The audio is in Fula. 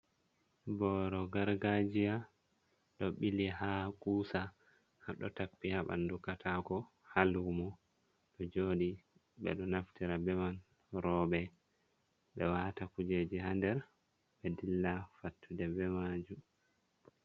Booro gargaajiya, ɗo ɓili haa kuusa, haa ɗo tappi haa ɓanndu kataako, haa luumo ɗo jooɗi. Ɓe ɗo naftira be man, rooɓe ɗo waata kujeeji haa nder ɓe dilla fattude be maajum.